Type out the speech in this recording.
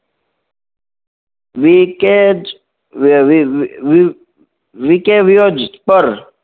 વી કેજ પર